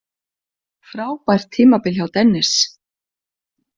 Frábært tímabil hjá Dennis